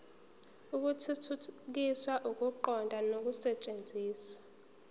ukuthuthukisa ukuqonda nokusetshenziswa